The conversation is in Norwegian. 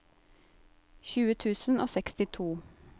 tjue tusen og sekstito